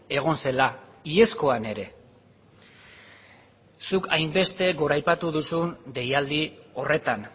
egon zela iazkoan ere zuk hainbeste goraipatu duzun deialdi horretan